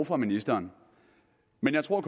for ministeren men jeg tror